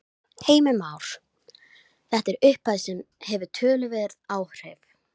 Heimir Már: Þetta er upphæð sem að hefur töluverð áhrif?